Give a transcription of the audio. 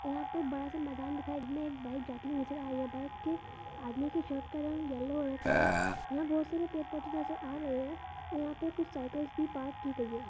और यहाँ पे एक बड़ा सा मैदान दिखाई दे एक बाइक जाती हुई नज़र आ रही है और बाइक के आदमी की शर्ट का रंग येलो हो रखा है | यहाँ बहोत सारे पेड़ पौधे नज़र आ रहे हैं और यहाँ पे कुछ साइकल्स भी पार्क की गई है।